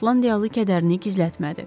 Şotlandiyalı kədərini gizlətmədi.